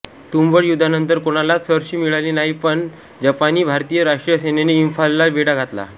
तुंबळ युद्धानंतर कोणालाच सरशी मिळाली नाही पण जपानीभारतीय राष्ट्रीय सेनेने इंफालला वेढा घातला